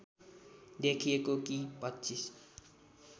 देखिएको कि २५